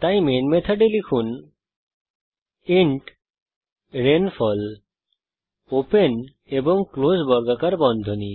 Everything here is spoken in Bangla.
সুতরাং মেন মেথডের মধ্যে লিখুন ইন্ট রেইনফল ওপেন এবং ক্লোস বর্গাকার বন্ধনী